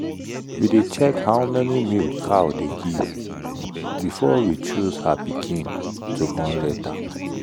we dey check how many milk cow dey give before we choose her pikin to born later.